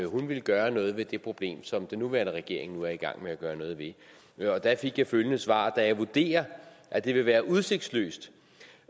hun ville gøre noget ved det problem som den nuværende regering nu er i gang med at gøre noget ved og der fik jeg følgende svar da jeg vurderer at det vil være udsigtsløst